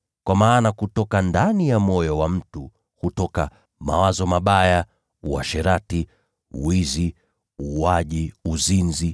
Kwa maana kutoka ndani ya moyo wa mtu hutoka mawazo mabaya, uasherati, wizi, uuaji, uzinzi,